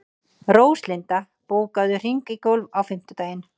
Róslinda, bókaðu hring í golf á fimmtudaginn.